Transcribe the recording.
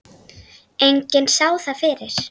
Enginn sá það fyrir.